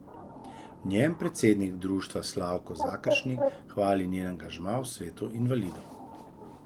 V njem predsednik društva Slavko Zakeršnik hvali njen angažma v svetu invalidov.